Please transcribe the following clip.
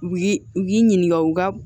U y'i u k'i ɲininka u ka